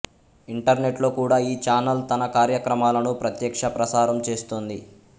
ఇంటర్నెట్లో కూడా ఈ ఛానల్ తన కార్యక్రమాలను ప్రత్యక్ష ప్రసారం చేస్తుంది